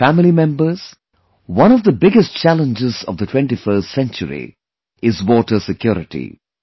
My family members, one of the biggest challenges of the 21st century is 'Water Security'